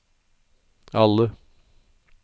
alle